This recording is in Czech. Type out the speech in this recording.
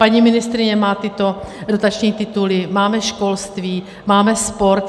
Paní ministryně má tyto dotační tituly, máme školství, máme sport.